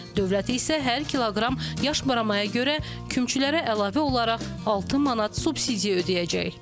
Dövlət isə hər kiloqram yaş baramaya görə kümçülərə əlavə olaraq 6 manat subsidiya ödəyəcək.